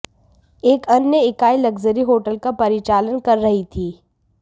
एक अन्य इकाई लक्जरी होटल का परिचालन कर रही थी